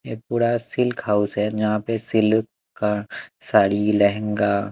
ये पूरा silk house है जहां पे सिल्क का साड़ी लहंगा --